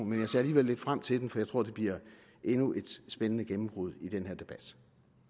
men jeg ser alligevel lidt frem til den for jeg tror det bliver endnu et spændende gennembrud i den her debat